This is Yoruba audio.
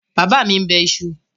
Bàbá mi bẹ iṣu?